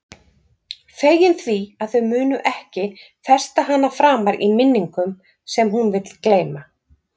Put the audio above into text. Fegin því að þau munu ekki festa hana framar í minningum sem hún vill gleyma.